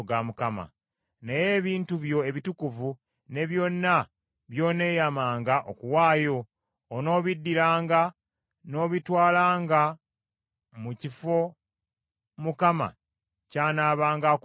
Naye ebintu byo ebitukuvu ne byonna by’oneeyamanga okuwaayo, onoobiddiranga n’obitwalanga mu kifo Mukama ky’anaabanga akulondedde.